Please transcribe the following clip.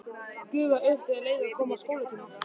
Gufaði upp þegar leið að skólatíma.